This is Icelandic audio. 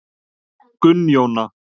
Gunnjóna